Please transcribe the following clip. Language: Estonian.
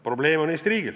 Probleem on Eesti riigil.